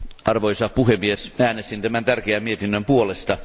Arvoisa puhemies, äänestin tämän tärkeän mietinnön puolesta.